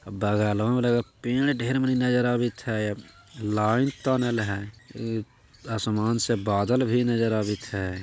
अ बगलवा में लागे पेड़ ढ़ेर मनी नजर आवेत है लाइन तानेल है आसमान से बादल भी नजर आवेत है।